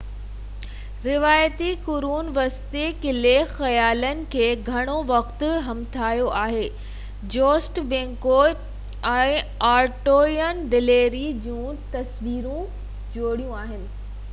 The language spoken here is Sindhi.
روايتي قرون وسطي قلعي خيالن کي گهڻو وقت همٿايو آهي جوسٽ بينڪوئيٽس ۽ آرٿورين دليري جون تصويرون جوڙيون آهن